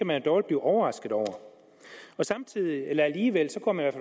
man dårligt blive overrasket over alligevel går man